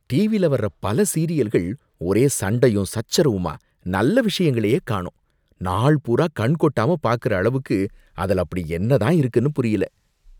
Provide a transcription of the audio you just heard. டிவில வர்ற பல சீரியல்கள் ஒரே சண்டையும் சர்ச்சரவுமா நல்ல விஷயங்களையே காணோம்! நாள் பூரா கண்கொட்டாம பாக்குற அளவுக்கு அதுல அப்படி என்னதான் இருக்குன்னு புரியல.